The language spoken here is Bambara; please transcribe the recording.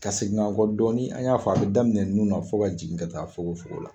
Ka segin an kɔ dɔɔnin, an y'a fɔ a bɛ daminɛ nun na fɔ ka jigin ka taa fukonfukon la. la.